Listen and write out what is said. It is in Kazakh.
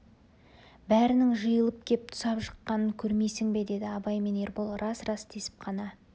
бәрінің жиылып кеп тұсап жыққанын көрмейсің бе деді абай мен ербол рас рас десіп тек қана